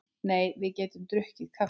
Nei, við getum drukkið kaffi.